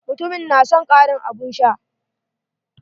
Mutumin na son karin abun sha.